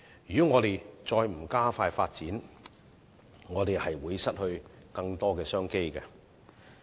如果香港不急起直追，就會失去更多商機。